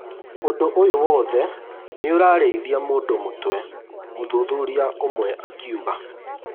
Ũndũ ũyũ wothe nĩũrarĩithia mũndũ mũtwe, mũthuthuria ũmwe akiuga